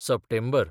सप्टेंबर